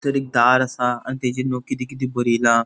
तर एक दार असा आणि तेजेरनु किदे किदे बरेला.